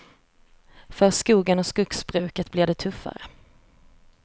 För skogen och skogsbruket blir det tuffare.